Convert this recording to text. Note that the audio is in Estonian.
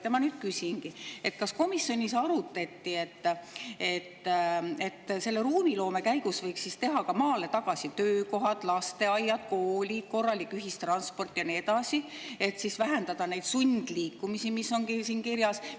Ma küsingi: kas komisjonis arutati, et selle ruumiloome käigus võiks ka teha maale tagasi töökohad, lasteaiad, koolid, korralik ühistransport ja nii edasi, et vähendada neid sundliikumisi, mis on siin kirjas?